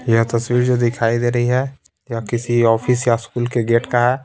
यह तस्वीर जो दिखाई दे रही है यह किसी ऑफिस या स्कूल के गेट का है ।